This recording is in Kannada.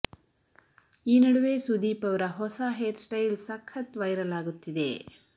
ಈ ನಡುವೆ ಸುದೀಪ್ ಅವರ ಹೊಸ ಹೇರ್ ಸ್ಟೈಲ್ ಸಖತ್ ವೈರಲ್ ಆಗುತ್ತಿದೆ